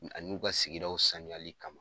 A n'u ka sigidaw sanuyali kama.